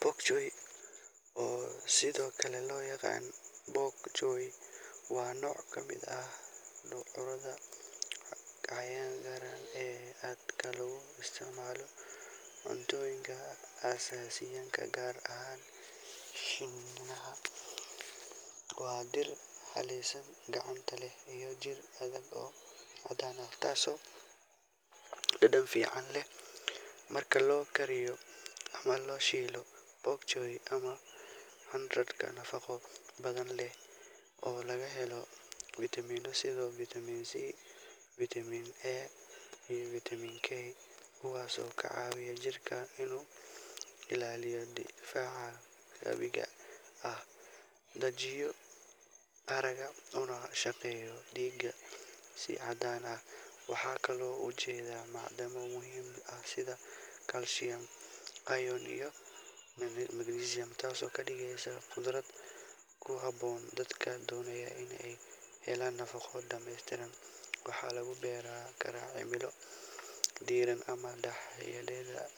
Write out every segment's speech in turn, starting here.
Pok choi, oo sidoo kale loo yaqaan bok choy, waa nooc ka mid ah khudradda cagaaran ee aadka loogu isticmaalo cuntooyinka Aasiyaanka, gaar ahaan Shiinaha. Waa dhir caleen cagaaran leh iyo jir adag oo caddaan ah, taasoo dhadhan fiican leh marka la kariyo ama la shiilo. Pok choi waa khudrad nafaqo badan leh oo laga helo fiitamiino sida Vitamin C, Vitamin A, iyo Vitamin K, kuwaasoo ka caawiya jirka inuu ilaaliyo difaaciisa dabiiciga ah, hagaajiyo aragga, una shaqeeyo dhiigga si caadi ah. Waxaa kaloo ku jira macdano muhiim ah sida calcium, iron, iyo magnesium, taasoo ka dhigaysa khudrad ku habboon dadka doonaya in ay helaan nafaqo dhamaystiran. Waxaa lagu beeri karaa cimilo diiran ama dhexdhexaad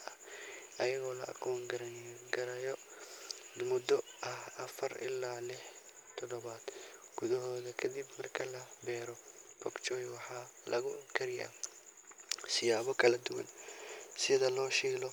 ah, iyadoo la goosan karo muddo ah afar ilaa lix toddobaad gudahood kadib marka la beero. Pok choi waxaa lagu kariyaa siyaabo kala duwan sida la shiilo.